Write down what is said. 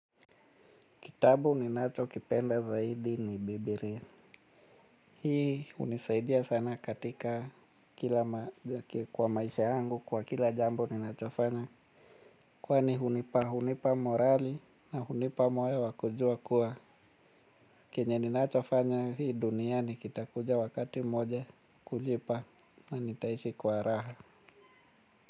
Kitabu ni nacho kipenda zaidi ni Bibilia. Hii hunisaidia sana katika kwa maisha yangu kwa kila jambo ninachofanya. Kwani hunipa, hunipa morali na hunipa moyo wa kujua kuwa. Kenye ninachofanya hii duniani kitakuja wakati moja kujipa nanitaishi kwa raha.